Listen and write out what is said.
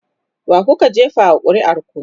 wakuka jefa wa ƙuri'ar ku?